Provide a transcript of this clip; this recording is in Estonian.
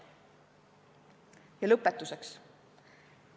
Ja lõpetuseks.